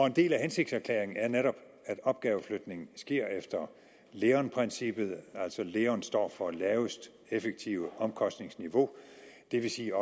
en del af hensigtserklæringen er netop at opgaveflytningen sker efter leon princippet altså leon står for laveste effektive omkostningsniveau det vil sige